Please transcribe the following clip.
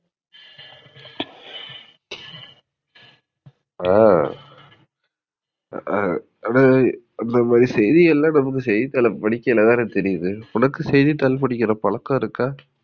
ஆஹ் அது அந்தமாதிரி செய்தி எல்லாம் நமக்கு செய்தித்தாள படிக்கும்போதுதான தெரியிது. உனக்கு செய்திதாள் படிக்கிற பழக்கம் இருக்கா?